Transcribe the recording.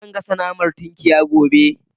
Zan gasa naman tinkiyar gobe